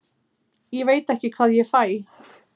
Ég veit ekki hvað ég fæ.